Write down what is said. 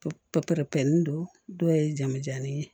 Don dɔw ye jamujanni ye